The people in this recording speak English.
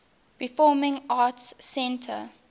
performing arts center